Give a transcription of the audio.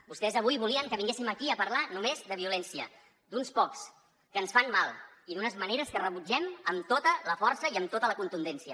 vostès avui volien que vinguéssim aquí a parlar només de violència d’uns pocs que ens fan mal i d’unes maneres que rebutgem amb tota la força i amb tota la contundència